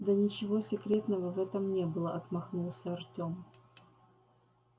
да ничего секретного в этом не было отмахнулся артём